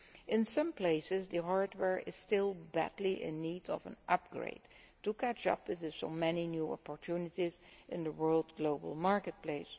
In some places, the hardware is still badly in need of an upgrade to catch up with so many new opportunities in the global marketplace.